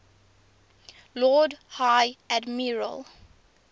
lord high admiral